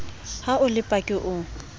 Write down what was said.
ha o le paki o